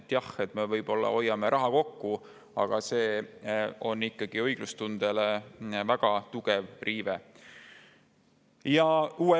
Jah, me hoiame raha kokku, aga tegu on ikkagi õiglustunde väga tugeva riivega.